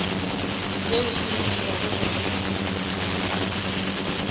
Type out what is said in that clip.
seo se mo dirago gore